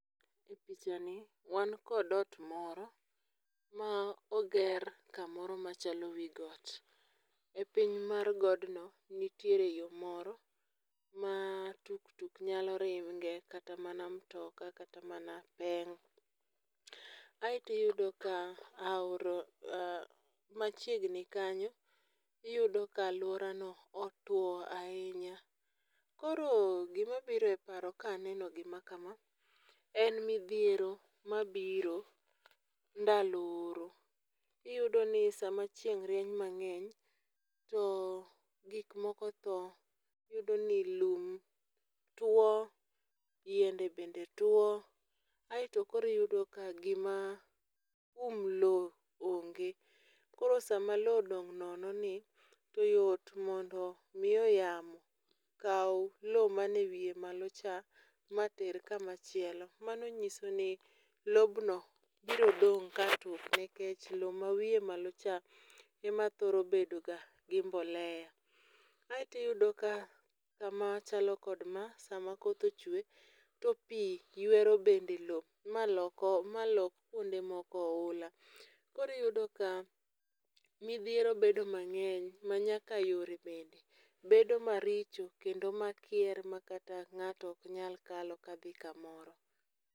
E pichani wan kod ot moro ma oger kamoro machalo wi got. E piny mar godno, nitiere yo moro ma tuktuk nyalo ringe, kata mana mtoka, kata mana peng'. Aeto iyudo ka aora machiegni kanyo iyudo ka alworano otwo ahinya. Koro gima biro e paro ka aneno gima kama, en midhiero mabiro ndalo oro. Iyudo ni sama chieng' rieny mang'eny to gik moko tho. Iyudo ni lum two, yiende bende two. Aeto koro iyudo ka gima um lowo onge. Koro sama lowo odong' nono ni to yot mondo miyo yamo kau lowo manie wiye malo cha, ma ter kama chielo. Mano nyiso ni lobno biro dong' ka nikech lowo ma wiye malo cha ema thoro bedo ga gi mbolea. Aeto iyudo ka kama chalo kod ma sama koth ochwe, to pi ywero bende lowo, ma loko, ma lok kuonde moko ohula. Koro iyudo ka midhiero bedo mang'eny ma nyaka yore bende bedo maricho kendo ma kyer ma ng'ato ok nyal kalo ka dhi kamoro.